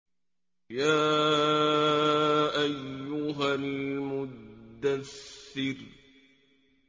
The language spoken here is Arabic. يَا أَيُّهَا الْمُدَّثِّرُ